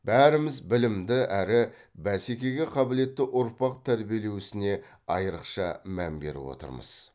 бәріміз білімді әрі бәсекеге қабілетті ұрпақ тәрбиелеу ісіне айрықша мән беріп отырмыз